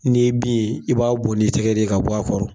N'i ye bin ye i b'a bɔn n'i tɛgɛ de ye ka bɔ a kɔrɔ.